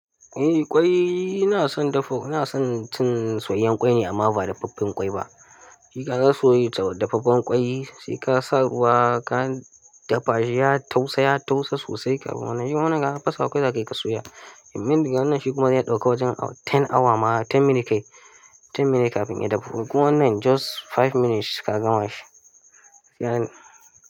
Eh ƙwai ina son dafa, ina son cin soyayyen kwai ne amma ba dafaffen ƙwai ba. Shika ga ka soya ta dafaffen ƙwai, saika ka sa ruwa ka dafa shi ya tausa, ya tausa sosai, kaman shi kuma ya fasawa kawai zakayi ka soya. Amin, wannan shi kuma zai ɗauka wajen ten awa ma ten minute kai, ten minutes kafin ya dafu. Wannan just five minutes ka gama shi.